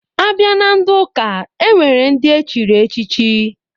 A bịa na ndị ụka, e nwere ndị echiri echichi.